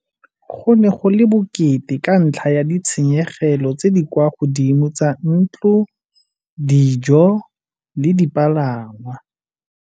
Go ne go le bokete ka ntlha ya ditshenyegelo tse di kwa godimo tsa ntlo, dijo le dipalangwa.